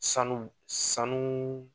Sanuw sanu